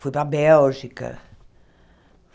Fui para a Bélgica.